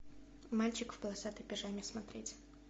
мальчик в полосатой пижаме смотреть